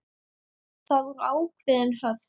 Það voru ákveðin höft.